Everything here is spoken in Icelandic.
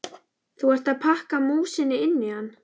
Þú ert að pakka músinni inn í hann!